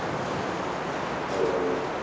ಹೌದೌದು, ಹೌದೌದು